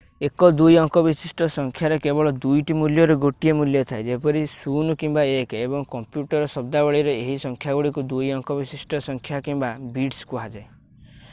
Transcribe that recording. ଏକ ଦୁଇ ଅଙ୍କ ବିଶିଷ୍ଟ ସଂଖ୍ୟାରେ କେବଳ ଦୁଇଟି ମୂଲ୍ୟରୁ ଗୋଟିଏ ମୂଲ୍ୟ ଥାଏ ଯେପରି 0 କିମ୍ବା 1 ଏବଂ କମ୍ପ୍ୟୁଟର୍ ଶଦ୍ଦାବଳୀରେ ଏହି ସଂଖ୍ୟାଗୁଡ଼ିକୁ ଦୁଇ ଅଙ୍କ ବିଶିଷ୍ଟ ସଂଖ୍ୟା କିମ୍ବା ବିଟ୍ସ କୁହାଯାଏ